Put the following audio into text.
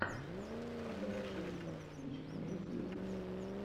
адама шенкмана кинчик имеется ли у тебя